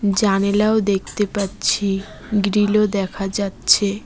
জানলাও দেখতে পাচ্ছি গ্রীলও দেখা যাচ্ছে।